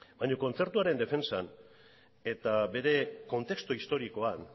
baina kontzertuaren defentsan eta bere kontestu historikoan